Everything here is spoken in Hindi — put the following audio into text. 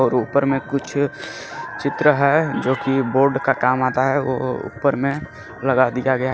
और ऊपर में कुछ चित्र है जो की बोर्ड का काम आता है ओ ओ ऊपर में लगा दिया गया--